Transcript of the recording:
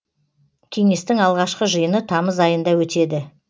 кеңестің алғашқы жиыны тамыз айында өтеді